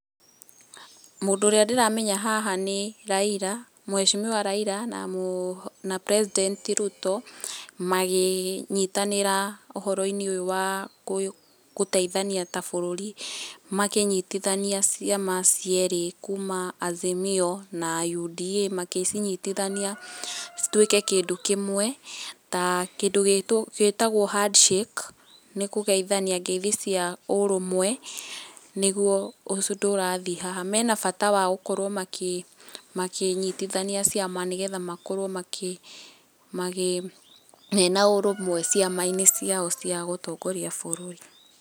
Mũndũ ũrĩa ndĩramenya haha nĩ Raila, mũheshimiwa Raila, na mũ president Ruto, magĩnyitanĩra ũhoro-inĩ ũyũ wa gũteithania ta bũrũri, makĩnyitithania ciama cierĩ, kuma Azimio, na UDA, magĩcinyitithania cituĩke kĩndũ kĩmwe, ta kĩndũ gĩtagwo Handshake, nĩ kũgeithania ngeithi cia ũrũmwe, nĩguo ũndũ ũrathiĩ haha, mena bata wa gũkorwo makĩ makĩnyitithania ciama, nĩgetha makorwo makĩ magĩ, mena ũrũmwe ciama-inĩ ciao cia gũtongoria bũrũri.